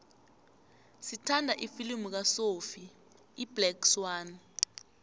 ngithanda ifilimu kasophie iblack swann